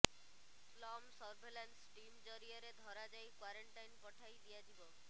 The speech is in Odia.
ସ୍ଲମ୍ ସର୍ଭେଲାନ୍ସ ଟିମ ଜରିଆରେ ଧରାଯାଇ କ୍ୱାରେଣ୍ଟାଇନ୍ ପଠାଇ ଦିଆଯିବ